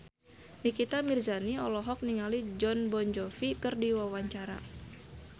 Nikita Mirzani olohok ningali Jon Bon Jovi keur diwawancara